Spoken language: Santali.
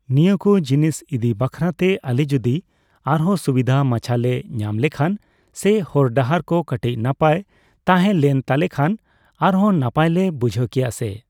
ᱱᱤᱭᱟᱹᱠᱩ ᱡᱤᱱᱤᱥ ᱤᱫᱤ ᱵᱟᱠᱷᱨᱟᱛᱮ ᱟᱞᱮ ᱡᱚᱫᱤ ᱟᱨᱦᱚ ᱥᱩᱵᱤᱫᱷ ᱢᱟᱪᱷᱟᱞᱮ ᱧᱟᱢᱞᱮᱠᱷᱟᱱ ᱥᱮ ᱦᱚᱨ ᱰᱟᱦᱟᱨ ᱠᱚ ᱠᱟᱴᱤᱪ ᱱᱟᱯᱟᱭ ᱛᱟᱦᱮᱸ ᱞᱮᱱᱛᱟᱞᱮᱠᱷᱟᱱ ᱟᱨᱦᱚᱸ ᱱᱟᱯᱟᱭᱞᱮ ᱵᱩᱡᱷᱠᱮᱭᱟ ᱥᱮ